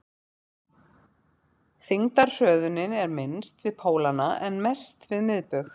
þyngdarhröðunin er minnst við pólana en mest við miðbaug